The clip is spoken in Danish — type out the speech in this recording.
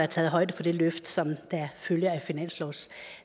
taget højde for det løft som følger